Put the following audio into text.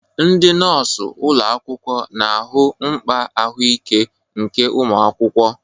Ndị nọọsụ ụlọ akwụkwọ na-ahụ mkpa ahụike nke ụmụ akwụkwọ.